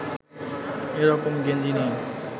এ রকম গেঞ্জি নেই